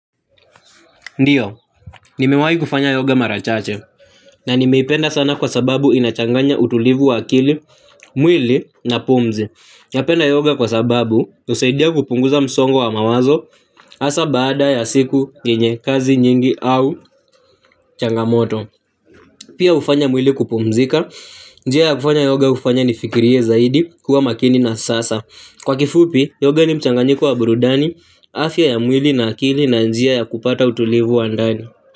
Ndiyo, nimewahi kufanya yoga mara chache, na nimeipenda sana kwa sababu inachanganya utulivu wa akili, mwili na pumzi. Napenda yoga kwa sababu husaidia kupunguza msongo wa mawazo hasa baada ya siku yemye kazi nyingi au changamoto. Pia hufanya mwili kupumzika, njia ya kufanya yoga hufanya nifikirie zaidi kuwa makini na sasa. Kwa kifupi, yoga ni mchanganyiko wa burudani, afya ya mwili na akili na njia ya kupata utulivu wa ndani.